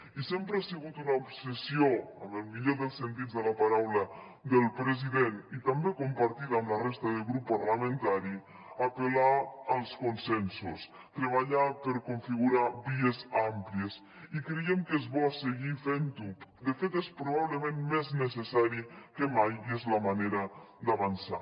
i sempre ha sigut una obsessió amb el millor dels sentits de la paraula del president i també compartida amb la resta de grup parlamentari apel·lar als consensos treballar per configurar vies àmplies i creiem que és bo seguir fent ho de fet és probablement més necessari que mai i és la manera d’avançar